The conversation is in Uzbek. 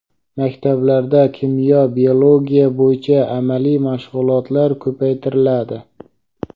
Maktablarda kimyo va biologiya bo‘yicha amaliy mashg‘ulotlar ko‘paytiriladi.